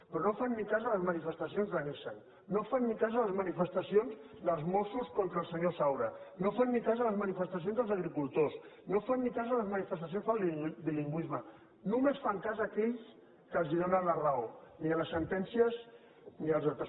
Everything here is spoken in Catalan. però no fan ni cas de les manifestacions de nissan no fan ni cas de les manifestacions dels mossos contra el senyor saura no fan ni cas de les manifestacions dels agricultors no fan ni cas de les manifestacions pel bilingüisme només fan cas d’aquells que els donen la raó ni de les sentències ni dels altres